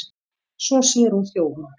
Svo sér hún þjófinn.